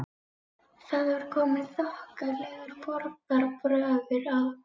Það var kominn þokkalegur borgarbragur á